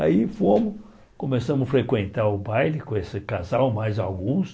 Aí fomos, começamos a frequentar o baile com esse casal, mais alguns.